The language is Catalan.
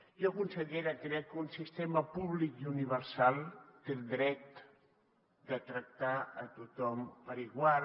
jo consellera crec que un sistema públic i universal té el deure de tractar a tothom per igual